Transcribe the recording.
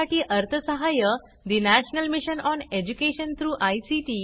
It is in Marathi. यासाठी अर्थसहाय्य national mission on education through I